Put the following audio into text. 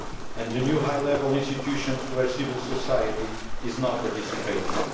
and the new high level institutions where civil society is now participating.